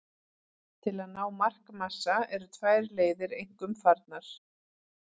Til að ná markmassa eru tvær leiðir einkum farnar.